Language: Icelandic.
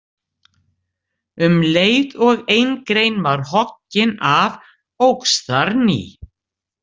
Um leið og ein grein var hoggin af óx þar ný.